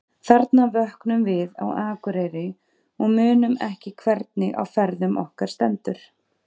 Þarna vöknum við á Akureyri og munum ekki hvernig á ferðum okkar stendur.